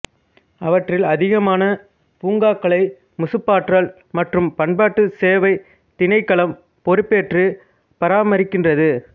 அவற்றில் அதிகமான பூங்காக்களை முசுப்பாற்றல் மற்றும் பண்பாட்டு சேவைத் திணைக்களம் பொறுப்பேற்று பராமறிக்கின்றது